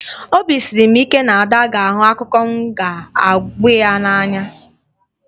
Obi siri m ike na Ada ga-ahụ akụkọ m na-aga ịgwa ya n'anya